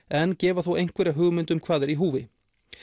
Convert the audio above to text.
en gefa þó einhverja hugmynd um hvað er í húfi